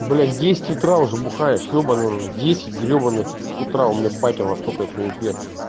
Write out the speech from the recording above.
блять в десять утра уже бухаешь ебанный в десять гребаных утра у меня батя во столька ещё не пьёт